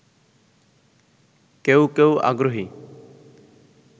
কেউ কেউ আগ্রহী